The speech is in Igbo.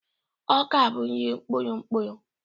Ọka bụ nri mkpụrụ mkpụrụ